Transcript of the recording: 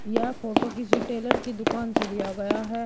यह फोटो किसी टेलर की दुकान से लिया गया है।